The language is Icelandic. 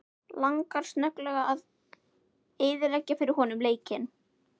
Langar snögglega að eyðileggja fyrir honum leikinn.